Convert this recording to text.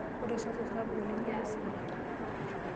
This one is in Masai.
Ore osesen sapuk oleng nemesidai.